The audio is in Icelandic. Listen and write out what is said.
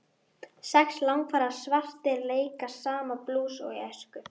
Sex langafar svartir leika sama blús og í æsku.